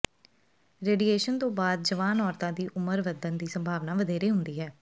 radiation ਤੋਂ ਬਾਅਦ ਜਵਾਨ ਔਰਤਾਂ ਦੀ ਉਮਰ ਵੱਧਣ ਦੀ ਸੰਭਾਵਨਾ ਵਧੇਰੇ ਹੁੰਦੀ ਹੈ